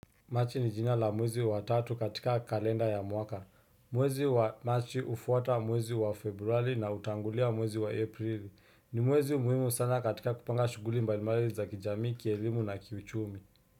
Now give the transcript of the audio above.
Machi ni jina la mwezi wa tatu katika kalenda ya mwaka. Mwezi wa Machi hufuata mwezi wa Februari na hutangulia mwezi wa Aprili. Ni mwezi muhimu sana katika kupanga shughuli mbali mbali za kijamii, kielimu na kichumi.